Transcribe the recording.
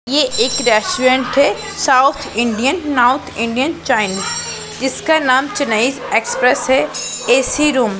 ये एक रेस्टोरेंट है साउथ इंडियन नॉर्थ इंडियन इसका नाम चेन्नई एक्सप्रेस है ए_सी रूम --